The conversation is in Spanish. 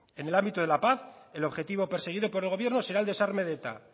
en el ámbito de la paz el objetivo perseguido por el gobierno será el desarme de eta